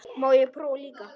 Má ég prófa líka!